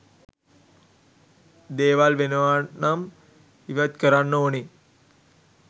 දේවල් වෙනවනම් ඉවත් කරන්න ඕනේ.